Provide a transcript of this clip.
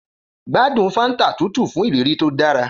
Gbádùn Fanta tútù fún ìrírí tó dára.